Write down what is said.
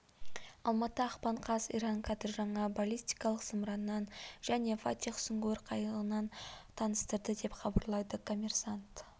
алматы ақпан қаз иран кадр жаңа баллистикалық зымыранын және фатех сүңгуір қайығын таныстырды деп хабарлады коммерсант